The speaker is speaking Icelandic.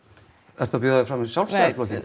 ertu að bjóða þig fram fyrir Sjálfstæðisflokkinn